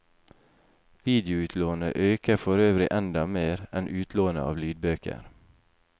Videoutlånet øker forøvrig enda mer enn utlånet av lydbøker.